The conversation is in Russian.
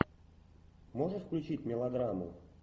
можешь включить мелодраму